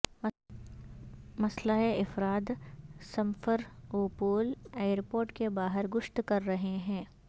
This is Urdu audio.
مسلح افراد سمفروپول ائیرپورٹ کے باہر گشت کر رہے ہیں